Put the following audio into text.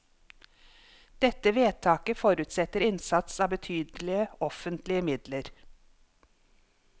Dette vedtaket forutsetter innsats av betydelige offentlige midler.